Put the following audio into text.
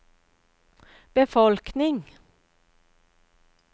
befolkning